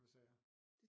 Hvad sagde jeg